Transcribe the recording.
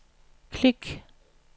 klik